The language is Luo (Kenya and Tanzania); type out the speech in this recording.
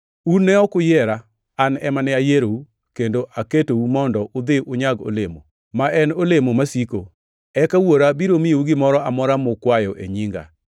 Un ne ok uyiera, an ema nayierou kendo aketou mondo udhi unyag olemo, ma en olemo masiko. Eka Wuora biro miyou gimoro amora mukwayo e nyinga.